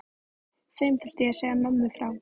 Þeim þurfti ég að segja mömmu frá.